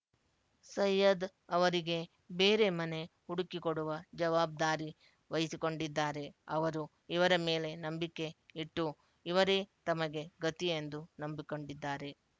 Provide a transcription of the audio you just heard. ಸೈಯದ್ ಅವರಿಗೆ ಬೇರೆ ಮನೆ ಹುಡುಕಿಕೊಡುವ ಜವಾಬ್ದಾರಿ ವಹಿಸಿಕೊಂಡಿದ್ದಾರೆ ಅವರು ಇವರ ಮೇಲೆ ನಂಬಿಕೆ ಇಟ್ಟು ಇವರೇ ತಮಗೆ ಗತಿ ಎಂದು ನಂಬಿಕೊಂಡಿದ್ದಾರೆ